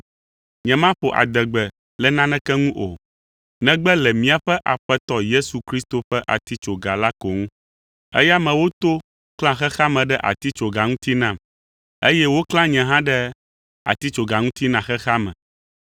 Nyemaƒo adegbe le naneke ŋu o, negbe le míaƒe Aƒetɔ Yesu Kristo ƒe atitsoga la ko ŋu. Eya me woto klã xexea me ɖe atitsoga ŋuti nam, eye woklã nye hã ɖe atitsoga ŋuti na xexea me.